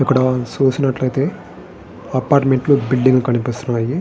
ఇక్కడ చూసినట్లయితే అపార్టుమెంట్లు బిల్డింగ్ కనిపిస్తున్నాయి.